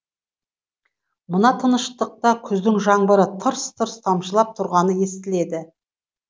мына тыныштықта күздің жаңбыры тырс тырс тамшылап тұрғаны естіледі